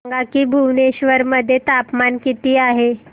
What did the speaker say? सांगा की भुवनेश्वर मध्ये तापमान किती आहे